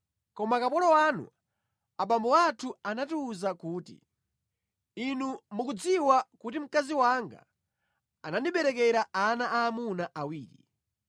“Koma kapolo wanu, abambo athu anatiwuza kuti, ‘Inu mukudziwa kuti mkazi wanga anandiberekera ana aamuna awiri.